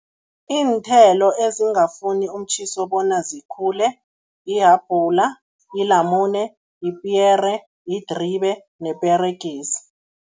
Iinthelo ezingafuni umtjhiso bona zikhule, ihabhula, ilamune, yipiyere, yidribe neperegisi.